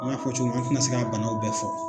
An y'a fɔ cogo mi an tɛna se ka banaw bɛɛ fɔ